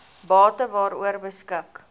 bate waaroor beskik